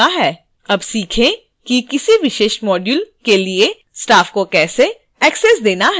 अब सीखें कि किसी विशेष module के लिए staff को कैसे एक्सेस देना है